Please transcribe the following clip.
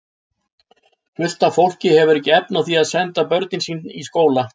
Fullt af fólki hefur ekki efni á því að senda börnin sín í skóla.